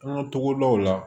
An ka togodaw la